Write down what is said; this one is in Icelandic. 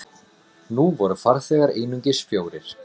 Nú voru farþegar einungis fjórir.